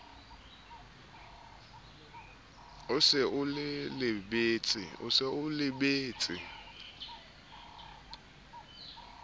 o se o e lebetse